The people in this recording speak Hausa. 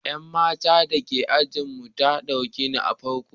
Yan matar da ke ajinmu ta dauki na farko.